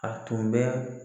A tun bɛ